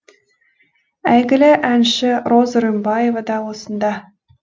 әйгілі әнші роза рымбаева да осында